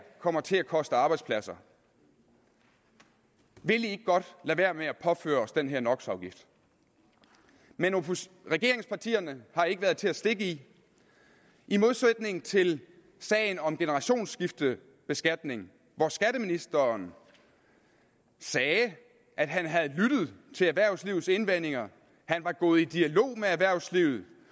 kommer til at koste arbejdspladser vil i ikke godt lade være med at påføre os den her no men regeringspartierne har ikke været til at stikke i i modsætning til sagen om generationsskiftebeskatning hvor skatteministeren sagde at han havde lyttet til erhvervslivets indvendinger han var gået i dialog med erhvervslivet